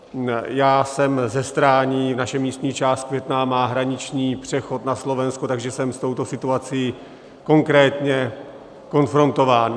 Já jsem ze Stání, naše místní část Květná má hraniční přechod na Slovensko, takže jsem s touto situací konkrétně konfrontován.